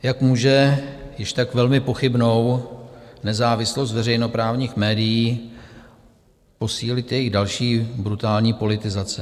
Jak může již tak velmi pochybnou nezávislost veřejnoprávních médií posílit jejich další brutální politizace?